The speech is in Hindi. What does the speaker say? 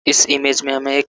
इस इमेज में हमें एक --